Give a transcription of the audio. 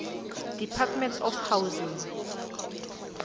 department of housing